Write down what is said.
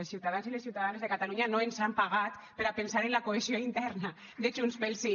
els ciutadans i les ciutadanes de catalunya no ens han pagat per a pensar en la cohesió interna de junts pel sí